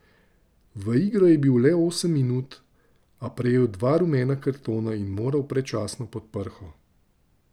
V igro je bil le osem minut, a prejel dva rumena kartona in moral predčasno pod prho.